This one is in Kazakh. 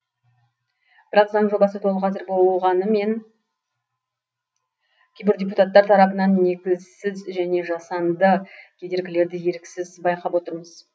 бірақ заң жобасы толық әзір болғанымен кейбір депутаттар тарапынан негізсіз және жасанды кедергілерді еріксіз байқап отырмыз